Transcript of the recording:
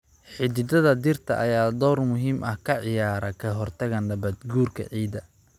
Xididdada dhirta ayaa door muhiim ah ka ciyaara ka hortagga nabaad-guurka ciidda.